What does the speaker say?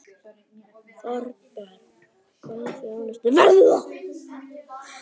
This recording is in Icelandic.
Þorbjörn: Hvaða þjónusta verður það?